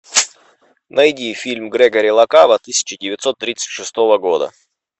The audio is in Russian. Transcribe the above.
найди фильм грегори ла кава тысяча девятьсот тридцать шестого года